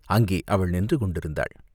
அங்கே அவள் நின்று கொண்டிருந்தாள்.